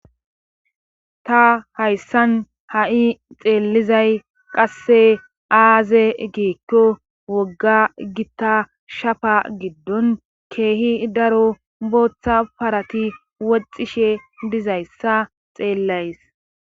Ta hayssan ha'i xeellizay qasse aaze giikko wogga gitta shafa giddon ke'hi daro booththa parati woxishshe dizayssa xeellays